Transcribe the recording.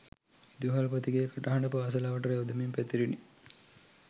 විදුහල්පතිගේ කටහඬ පාසල අවට රැව් දෙමින් පැතිරිණි